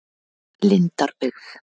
Lindarbyggð